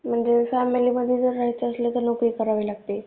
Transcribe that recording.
म्हणजे फॅमिली मध्ये राहायचे असेन तर नोकरी करावी लागते